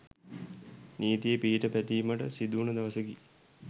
නීතියේ පිහිට පැතීමට සිදුවන දවසකි